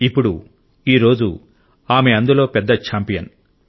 ఇప్పుడు ఈ రోజు ఆమె అందులో పెద్ద ఛాంపియన్